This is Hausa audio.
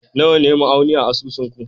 Nawa ne ma'auni a asusun ku?